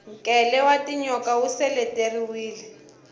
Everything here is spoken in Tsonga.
nkele wa tinyoka wu seleteriwile